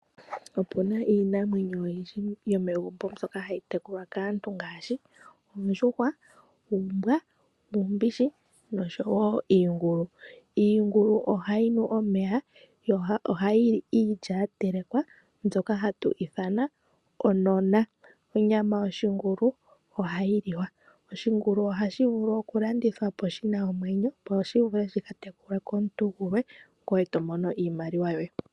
Opuna iinamwenyo oyindji yomegumbo mbyoka hayi tekulwa kaantu ngaashi oondjuhwa, uumbwa nuumbishi noshowo iingulu. Iingulu ohayi nu omeya, yo ohayi li iilya ya telekwa mbyoka hatu ithana onona. Onyama yoshingulu ohayi liwa. Oshingulu ohashi vulu oku landithwa po shina omwenyo, opo shi vule shika tekulwe komuntu gulwe, ngoye to mono iimaliwa yoye.